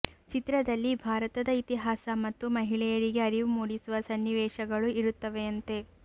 ಚಿತ್ರದಲ್ಲಿ ಭಾರತದ ಇತಿಹಾಸ ಮತ್ತು ಮಹಿಳೆಯರಿಗೆ ಅರಿವು ಮೂಡಿಸುವ ಸನ್ನಿವೇಶಗಳು ಇರುತ್ತವೆಯಂತೆ